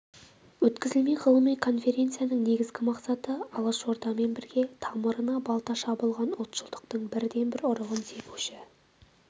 өткізілмек ғылыми конференцияның негізгі мақсаты алашордамен бірге тамырына балта шабылған ұлтшылдықтың бірден-бір ұрығын себуші